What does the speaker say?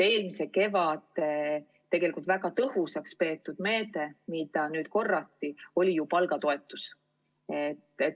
Eelmise kevade väga tõhusaks peetud meede oli palgatoetus ja seda korrati.